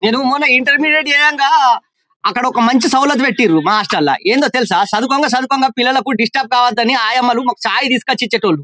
నేను మొన్న ఇంటర్మీడియట్ చేయంగా అక్కడ ఒక మంచి సౌలత్ పెట్టిండు మా హాస్టల్ లో ఏదో తెలుసా చదువుకొంగ చదువుకొంగ పిల్లలకు డిస్టర్బ్ కావొద్దని ఆయమ్మ లు మాకు చాయ్ తీసుకొచ్చి ఇచ్చే టి వాళ్లు.